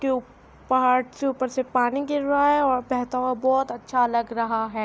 کے پھاڈ کے اپر سے پانی گر رہا ہے اور بہتا ہوا بھوت اچھا لگ رہا ہے۔